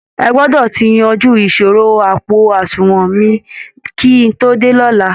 Ẹ gbọdọ̀ ti yanjú ìṣòro àpò àsunwọ̀n mi kí n tó dé lọ́la!